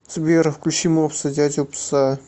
сбер включи мопса дядю пса